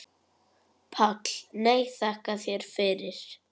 PÁLL: Nei, þakka þér fyrir.